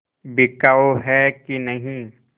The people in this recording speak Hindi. बिकाऊ है कि नहीं